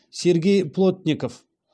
сергей плотников